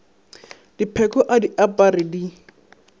dipheko a di apare di